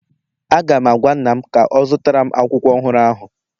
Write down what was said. Aga m agwa nna'm ka ọ zụtara m akwụkwọ ọhụrụ ahụ